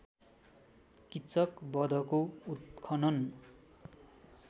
किच्चक वधको उत्खनन